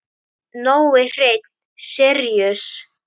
Nói Hreinn Síríus.